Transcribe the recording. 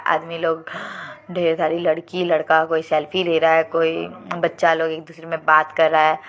आदमी लोग ढेर सारी लड़की लड़का कोई सेल्फी ले रहा है कोई बच्चा लोग एक दूसरे में बात कर रहा है।